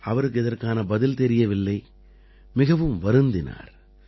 அவருக்கு இதற்கான பதில் தெரியவில்லை மிகவும் வருந்தினார்